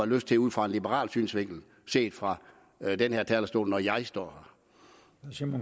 lyst til ud fra en liberal synsvinkel set fra den her talerstol når jeg står